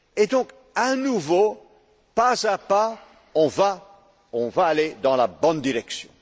sept. Donc, à nouveau, pas à pas, on va aller dans la bonne direction.